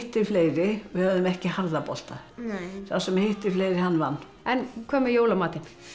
fleiri við höfðum ekki harða bolta sá sem hitti fleiri hann vann en hvað með jólamatinn